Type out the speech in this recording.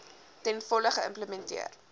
ten volle geïmplementeer